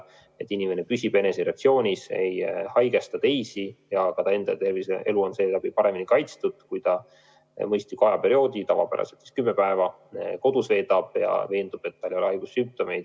Tuleb püüda tagada, et inimene püsib eneseisolatsioonis, ei nakata teisi ja ka ta enda tervis ja elu on seeläbi paremini kaitstud, kui ta mõistliku aja, tavapäraselt siis kümme päeva, kodus veedab ja veendub, et tal ei ole haigussümptomeid.